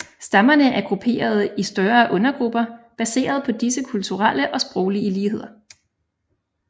Stammerne er grupperede i større undergrupper baserede på disse kulturelle og sproglige ligheder